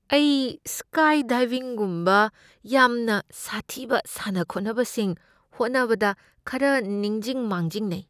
ꯑꯩ ꯁ꯭ꯀꯥꯏꯗꯥꯏꯚꯤꯡꯒꯨꯝꯕ ꯌꯥꯝꯅ ꯁꯥꯊꯤꯕ ꯁꯥꯟꯅ ꯈꯣꯠꯅꯕꯁꯤꯡ ꯍꯣꯠꯅꯕꯗ ꯈꯔ ꯅꯤꯡꯖꯤꯡ ꯃꯥꯡꯖꯤꯡꯅꯩ ꯫